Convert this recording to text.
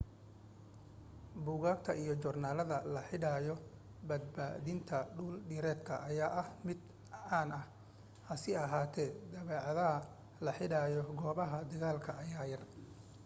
buugaagta iyo joornaalada la xidhiidha badbaadinta dhul dhireedka ayaa ah mid caan ah hase ahaatee daabacaadaha la xidhiidha goobaha dagaalka ayaa yar